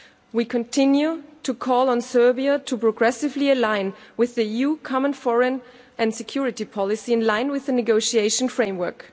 We continue to call on Serbia to progressively align with EU common foreign and security policy, in line with the negotiation framework.